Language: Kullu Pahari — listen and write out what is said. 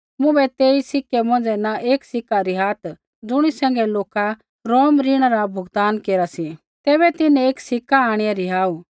मुँभै तेई सिक्के मौंझ़ै न एक सिक्का रिहात् जुणी सैंघै लोका रोम ऋणा रा भुगतान केरा सी तैबै तिन्हैं एक सिक्का आंणिआ रिहाऊ